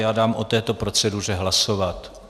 Já dám o této proceduře hlasovat.